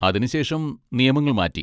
അതിന് ശേഷം നിയമങ്ങൾ മാറ്റി.